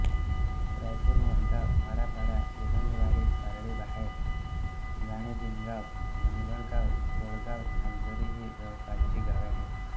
रायपूर मोठगाव हाळापाडा धुंदलवाडी पारडी बहारे घाडणेजिनगाव गांगणगाव बोडगाव नागझरी ही जवळपासची गावे आहेत